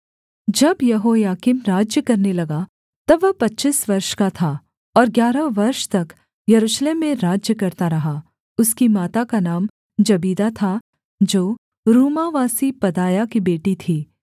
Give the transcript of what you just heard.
जब यहोयाकीम राज्य करने लगा तब वह पच्चीस वर्ष का था और ग्यारह वर्ष तक यरूशलेम में राज्य करता रहा उसकी माता का नाम जबीदा था जो रूमावासी पदायाह की बेटी थी